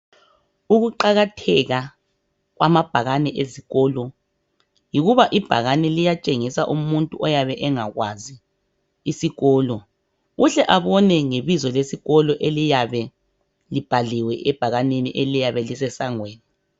Ukuqakatheka kwamabhakani ezikolo yikuthi ayatshengisa umuntu oyabe engakwazi isikolo uhle abone ngebizo lesikolo eliyabe libhaliwe ebhakanini eliyane lisesangweni